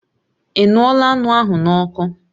Ị ṅụọla anụ ahụ n'ọkụ?